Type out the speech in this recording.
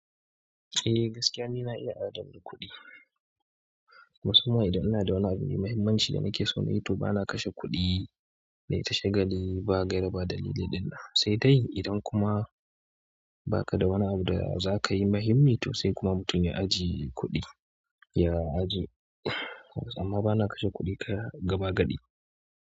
Eh gaskiya ni na iya adana kuɗi, musamman idan ina da wani abu mai muhimmanci da nake so na yi to bana kashe kuɗi nayi ta shagali ba gaira ba dalili ɗinnan sai dai idan kuma baka da wani abu da zakayi muhimmi to sai kuma mutum ya ajiye kuɗi, ya ajiye. Amma bana kashe kuɗi kaya gaba gaɗi.